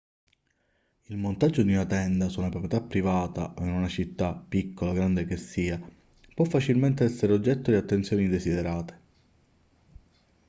il montaggio di una tenda su una proprietà privata o in una città piccola o grande che sia può facilmente essere oggetto di attenzioni indesiderate